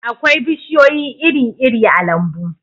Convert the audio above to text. akwai bishiyoyi iri-iri a lambu